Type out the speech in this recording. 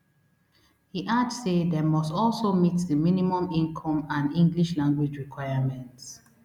e add say dem must also meet di minimum income and english language requirements